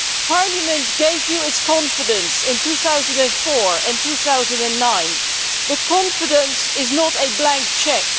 Parliament gave you its confidence in 2004 and 2009 but confidence is not a blank cheque.